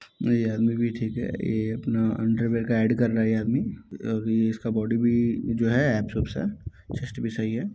ये आदमी भी ठीक हैं ए अपना अंडरवेर का एड कर रहा है ये आदमी अभी इसका बॉडी भी जो है एप्रॉक्स है चेस्ट भी सही है।